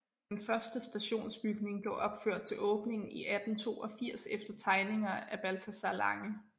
Den første stationsbygning blev opført til åbningen i 1882 efter tegninger af Balthazar Lange